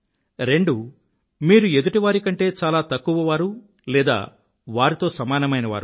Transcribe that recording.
రెండు మీరు ఎదుటివారి కంటే చాలా తక్కువవారు లేదా వారితో సమానమైన వారు